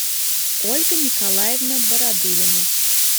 ольга николаевна бородулина